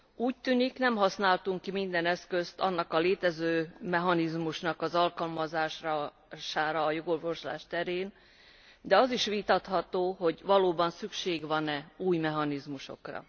Úgy tűnik, nem használtunk ki minden eszközt ennek a létező mechanizmusnak az alkalmazására a jogorvoslás terén, de az is vitatható, hogy valóban szükség van e új mechanizmusokra.